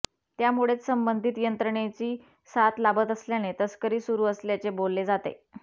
त्यामुळेच संबंधित यंत्रणेची साथ लाभत असल्याने तस्करी सुरू असल्याचे बोलले जाते